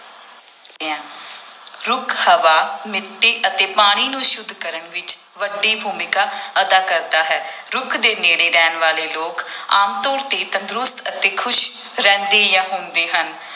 ਰੁੱਖ ਹਵਾ ਮਿੱਟੀ ਅਤੇ ਪਾਣੀ ਨੂੰ ਸੁੱਧ ਕਰਨ ਵਿੱਚ ਵੱਡੀ ਭੂਮਿਕਾ ਅਦਾ ਕਰਦਾ ਹੈ ਰੁੱਖ ਦੇ ਨੇੜੇ ਰਹਿਣ ਵਾਲੇ ਲੋਕ ਆਮ ਤੌਰ ਤੇ ਤੰਦਰੁਸਤ ਅਤੇ ਖ਼ੁਸ਼ ਰਹਿੰਦੇ ਜਾਂ ਹੁੰਦੇ ਹਨ।